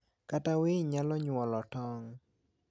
kata winy nyalo nyuolo tong'.